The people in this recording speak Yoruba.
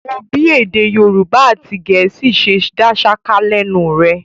Wò ó bí èdè Yorùbá àti Gẹ̀ẹ́sì ṣe dá ṣáká lẹ́nu rẹ̀.